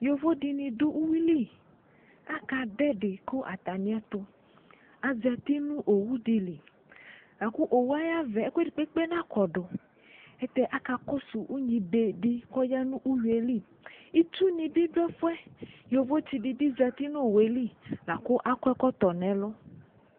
Yovo dini dʋ uwiliAkadʋ ɛdi kʋ atamietuAzati nʋ owu diliLakʋ owu yɛ ayavɛ ɛkʋ edikpekpe nakɔduAtɛ akakɔsʋ unyi bedi, kʋ ɔya nʋ uwiyɛliItsu nibi dʋ ɛfuɛ Yovo tsi dibi zati nowoe li, lakʋ akɔ ɛkɔtɔ nɛlʋ